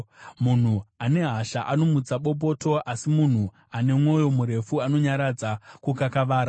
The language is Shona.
Munhu ane hasha anomutsa bopoto, asi munhu ane mwoyo murefu anonyaradza kukakavara.